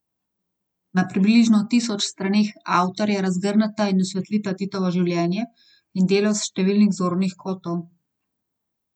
Na približno tisoč straneh avtorja razgrneta in osvetlita Titovo življenje in delo s številnih zornih kotov.